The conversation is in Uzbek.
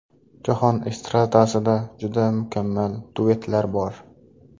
Jahon estradasida juda mukammal duetlar bor.